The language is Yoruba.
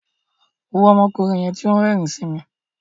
Wo ọmọkùnrin yẹn ti o n rérìn si mi.